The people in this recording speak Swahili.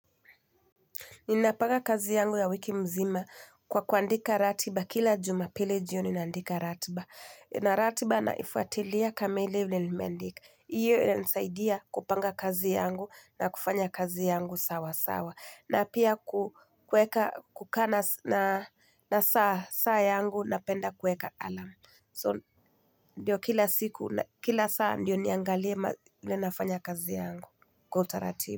Ninapanga kazi yangu ya wiki mzima kwa kuandika ratiba kila jumapilli jioni naandika ratiba. Na ratiba naifuatilia kamili vilenimeandika. Hiyo inanisaidia kupanga kazi yangu na kufanya kazi yangu sawa sawa. Na pia kukana na saa yangu napenda kueka alamu. So ndio kila siku na kila saa ndio niangalie nafanya kazi yangu kwa utaratibu.